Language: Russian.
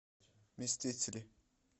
мстители